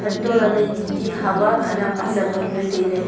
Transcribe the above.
antoh lahle ti khama khanak ajam ngan le taile.